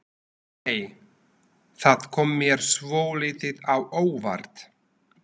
Nei! Það kom mér svolítið á óvart!